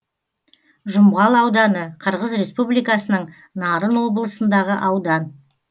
жұмғал ауданы қырғыз республикасының нарын облысындағы аудан